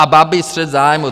A Babiš - střet zájmů.